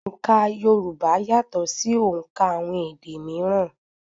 Òǹkà Yorùbá yàtọ̀ ṣì òùnkà àwọn èdè míírán.